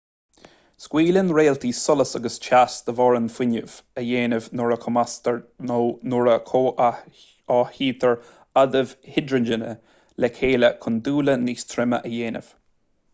scaoileann réaltaí solas agus teas de bharr an fhuinnimh a dhéanamh nuair a chumasctar nó nuair a chomhtháthaítear adaimh hidrigine le chéile chun dúile níos troime a dhéanamh